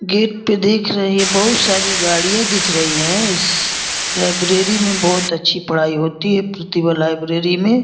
Gate पे देख रहे बहुत सारी गाड़िया दिख रही हैं। इस लाइब्रेरी मे बहुत अच्छी पढ़ाई होती है प्रतिभा लाइब्रेरी मे।